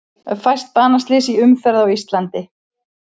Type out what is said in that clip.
Fæst banaslys í umferð á Íslandi